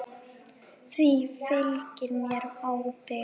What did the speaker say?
Því fylgir mikil ábyrgð.